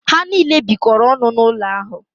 Ha niile bikọrọ ọnụ n’ụlọ ahụ